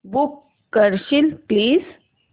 book करशील please